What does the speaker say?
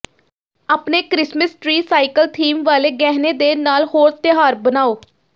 ਆਪਣੇ Christmas tree cycle theme ਵਾਲੇ ਗਹਿਣੇ ਦੇ ਨਾਲ ਹੋਰ ਤਿਉਹਾਰ ਬਣਾਉ